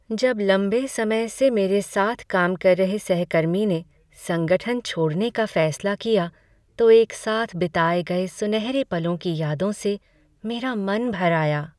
जब लंबे समय से मेरे साथ काम कर रहे सहकर्मी ने संगठन छोड़ने का फैसला किया तो एक साथ बिताए गए सुनहरे पलों की यादों से मेरा मन भर आया।